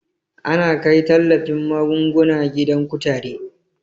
Ana kai tallafin magunguna gidan kutare